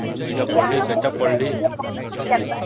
ମୁଁ ଏଇଟା ପଢ଼ିଲି ସେଇଟା ପଢ଼ିଲି